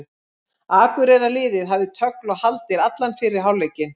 Akureyrarliðið hafði tögl og haldir allan fyrri hálfleikinn.